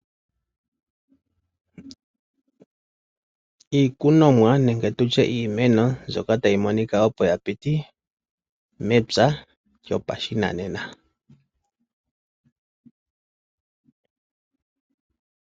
Iikunomwa nenge tu tye iimeno mbyoka tayi monika opo ya piti mepwa lyopashinane.